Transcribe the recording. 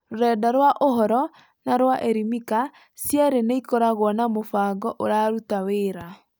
Rũrenda rwa ũhoro na rwa Elimika cierĩ nĩ ikoragwo na mũbango ũraruta wera.